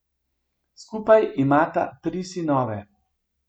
Skupaj imata tri sinove.